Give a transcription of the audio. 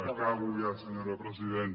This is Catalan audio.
acabo ja senyora presidenta